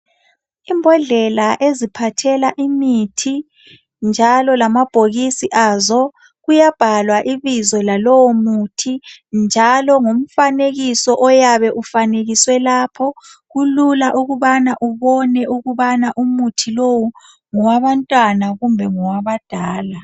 Imbodlela eziphathela imithi njalo lamabhokisi azo kuyabhalwa ibizo lalowo muthi ngomfanekiso oyabe ufanekiswe lapho kulula ukubana ubone ukubana umuthi lowu ngowabantwana kumbe ngowabadala.